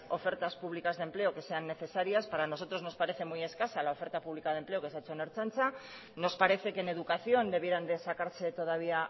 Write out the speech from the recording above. ofertas públicas de empleo que sean necesarias para nosotros nos parece muy escasa la oferta pública de empleo que se ha hecho en ertzaintza nos parece que en educación debieran de sacarse todavía